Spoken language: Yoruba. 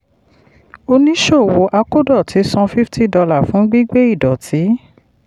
oníṣòwò akódọ̀tí san fifty dollar fún gbígbé ìdọ̀tí.